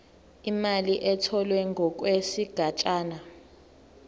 imali etholwe ngokwesigatshana